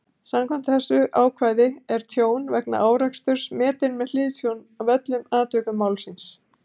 Samkvæmt þessu ákvæði er tjón vegna áreksturs metið með hliðsjón af öllum atvikum málsins.